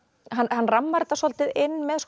hann rammar þetta svolítið inn með